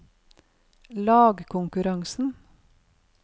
lagkonkurransen